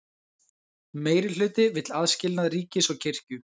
Meirihluti vill aðskilnað ríkis og kirkju